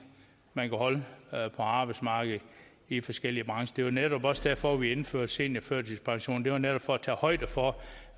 man kan holde på arbejdsmarkedet i forskellige brancher det var netop også derfor vi indførte seniorførtidspensionen det var netop for at tage højde for